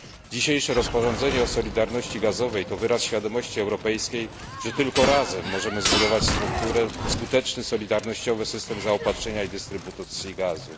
Dzisiejsze rozporządzenie o solidarności gazowej to wyraz świadomości europejskiej, że tylko razem możemy zbudować skuteczny solidarnościowy system zaopatrzenia i dystrybucji gazu.